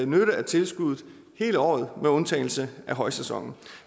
nytte af tilskuddet hele året med undtagelse af højsæsonen